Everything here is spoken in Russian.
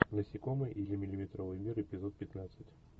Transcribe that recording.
насекомые или миллиметровый мир эпизод пятнадцать